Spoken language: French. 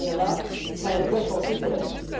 Nous avons là un vrai chantier pour l'avenir.